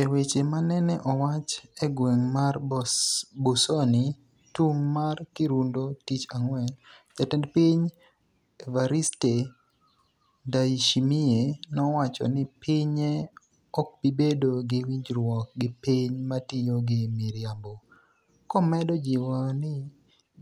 e weche manene owacho e gweng mar Busoni tung' mar Kirundo tich ang'wen, jatend piny Evariste Ndayishimiye nowacho ni pinye okbibedo gi winjruok gi piny matiyo gi miriambo, komedo jiwo ni